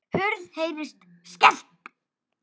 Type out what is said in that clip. Hurð heyrist skellt.